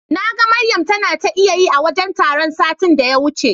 Naga Maryam tana ta iyayi a wajen taron satin da ya wuce.